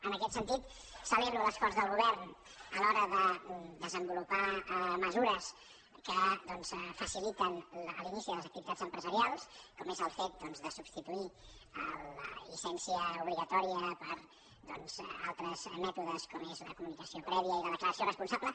en aquest sentit celebro l’esforç del govern a l’hora de desenvolupar mesures que doncs faciliten l’inici de les activitats empresarials com és el fet doncs de substituir la llicència obligatòria per altres mètodes com són la comunicació prèvia i la declaració responsable